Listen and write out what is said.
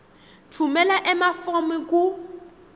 tfumela emafomu ku